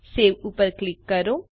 save ઉપર click કરો